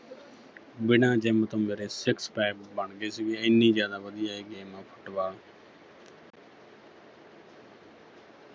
ਬਿਨਾਂ gym ਤੋਂ ਮੇਰੇ six pack ਬਣਗੇ ਸੀਗੇ ਇੰਨੀ ਜ਼ਿਆਦਾ ਵਧੀਆ ਏ game ਆ Football